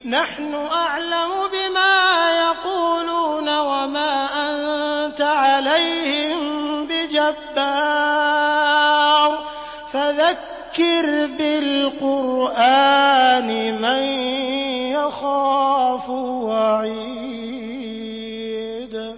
نَّحْنُ أَعْلَمُ بِمَا يَقُولُونَ ۖ وَمَا أَنتَ عَلَيْهِم بِجَبَّارٍ ۖ فَذَكِّرْ بِالْقُرْآنِ مَن يَخَافُ وَعِيدِ